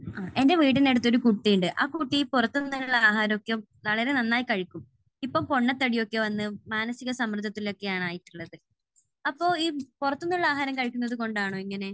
എന്റെ വീടിനടുത്തൊരു കുട്ടിയുണ്ട്. ആ കുട്ടി പുറത്തുനിന്നുള്ള ആഹാരമൊക്കെ വളരെ നന്നായി കഴിക്കും. ഇപ്പോൾ പൊണ്ണത്തടി വന്ന് മാനസിക സമ്മർദ്ദത്തിൽ ഒക്കെയാണ് ആയിട്ടുള്ളത്. അപ്പോൾ ഈ പുറത്തുനിന്നുള്ള ആഹാരം കഴിക്കുന്നതുകൊണ്ടാണോ ഇങ്ങനെ?